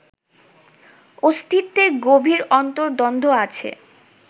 অস্তিত্বের গভীর অন্তর্দ্বন্দ্ব আছে